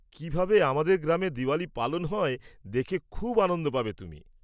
কীভাবে আমাদের গ্রামে দিওয়ালী পালন হয় দেখে খুব আনন্দ পাবে তুমি।